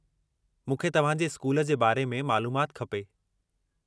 मूंखे तव्हां जे स्कूल जे बारे में मालूमाति खपे।